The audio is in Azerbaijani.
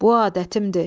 Bu adətimdir.